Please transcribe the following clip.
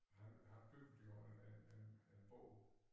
Han han byggede jo en en en båd